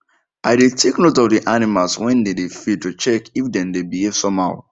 i dey take note of the animals when dem dey feed to check if dem dey behave somehow